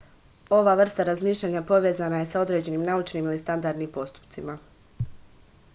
ova vrsta razmišljanja povezana je sa određenim naučnim ili standardnim postupcima